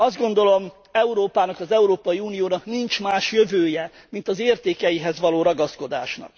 Azt gondolom, Európának, az Európai Uniónak nincs más jövője, mint az értékeihez való ragaszkodás.